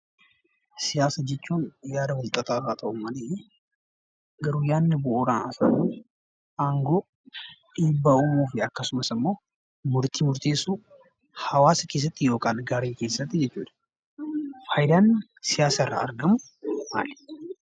Siyaasa jechuun yaada wal xaxaa haa ta'u malee, namoonni bu'uuraan haasawu aangoo, dhiibbaa uumuuf akkasumas immoo murtii murteessuuf hawaasa yookiin garee keessatti dha. Fayidaan siyaasa irra argamu maali?